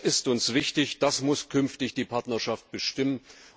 Das ist uns wichtig, das muss künftig die Partnerschaft bestimmen.